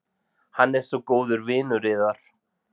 Hann er svo góður vinur yðar.